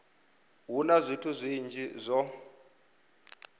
hu na zwithu zwinzhi zwo